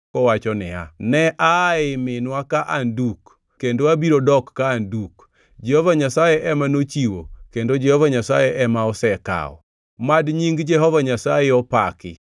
kowacho niya: “Ne aa ei minwa ka an duk, kendo abiro dok ka an aduk. Jehova Nyasaye ema nochiwo kendo Jehova Nyasaye ema osekawo; mad nying Jehova Nyasaye opaki.”